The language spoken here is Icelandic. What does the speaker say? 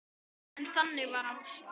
En þannig var Ása.